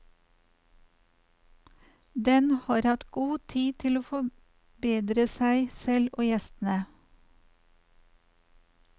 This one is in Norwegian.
Den har hatt god tid til å forberede seg selv og gjestene.